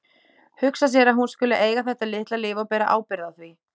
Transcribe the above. Hugsa sér að hún skuli eiga þetta litla líf og bera ábyrgð á því.